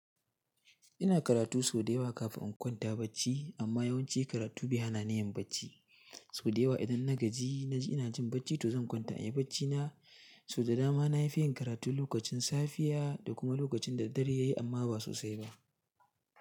Ina karatu sau da yawa kafin in kwanta bacci amma yawanci karatu bai hana ni yin bacci. Sau da yawa idan na gaji na ji ina jin bacci to zan kwanta in yi bacci na. Sau da dama na yi fiyan karatu lokacin safiya da kuma lokacin da dare yayi amma ba sosai ba.